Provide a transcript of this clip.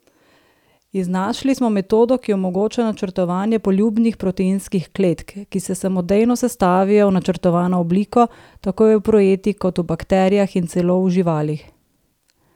Iznašli smo metodo, ki omogoča načrtovanje poljubnih proteinskih kletk, ki se samodejno sestavijo v načrtovano obliko, tako v epruveti kot v bakterijah in celo v živalih.